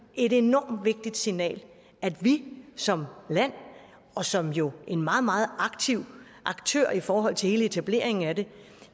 et enormt vigtigt signal vi som land og som jo en meget meget aktiv aktør i forhold til hele etableringen af det